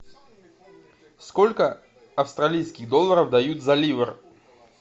сколько австралийских долларов дают за ливр